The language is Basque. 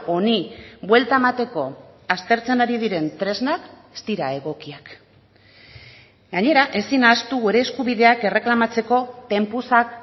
honi buelta emateko aztertzen ari diren tresnak ez dira egokiak gainera ezin ahaztu gure eskubideak erreklamatzeko tempusak